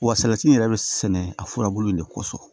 Wa salati yɛrɛ bɛ sɛnɛ a furabulu in de kɔsɔn